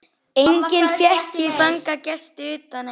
Enga fékk ég þangað gesti utan einn.